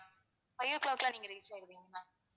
five o'clock எல்லாம் நீங்க reach ஆகிடுவீங்க ma'am